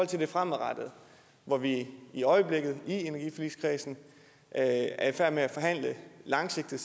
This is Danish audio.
til det fremadrettede hvor vi i øjeblikket i energiforligskredsen er i færd med at forhandle langsigtede